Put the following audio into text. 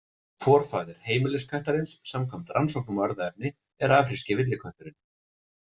Forfaðir heimiliskattarins, samkvæmt rannsóknum á erfðaefni, er afríski villikötturinn.